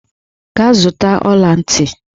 Gaa zụta ọla ntị!